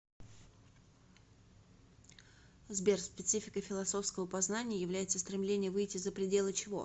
сбер спецификой философского познания является стремление выйти за пределы чего